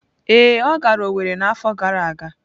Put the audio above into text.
Ee, ọ gara Owerri n’afọ gara aga